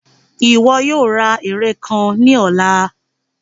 Iwọ yoo ra ere kan ni ọla!